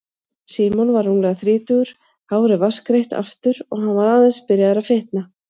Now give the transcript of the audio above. Símon var rúmlega þrítugur, hárið vatnsgreitt aftur og hann var aðeins byrjaður að fitna.